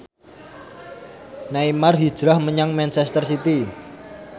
Neymar hijrah menyang manchester city